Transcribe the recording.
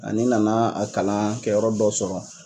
Ani n nana a kalankɛ yɔrɔ dɔ sɔrɔ.